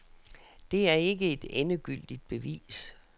Det er ikke et endegyldigt bevis.